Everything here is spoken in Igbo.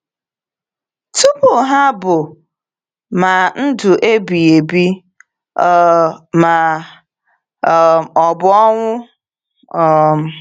Tupu ha bụ ma ndụ ebighi ebi um ma um ọ bụ ọnwụ. um